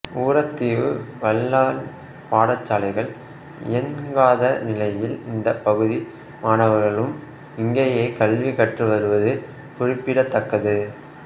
ஊரதீவு வல்லன் பாடசாலைகள் இயன்காத நிலையில் இந்த பகுதி மாணவர்களும் இங்கேயே கல்வி கற்று வருவது குறிப்பிடத்தக்கது